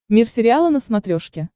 мир сериала на смотрешке